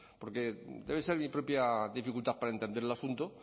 porque debe ser mi propia dificultad para entender el asunto